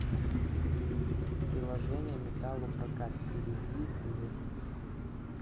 приложение металлопрокат перейди в